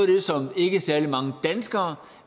det som ikke særlig mange danskere